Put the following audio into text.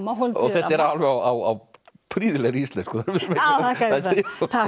þetta er alveg á prýðilegri íslensku takk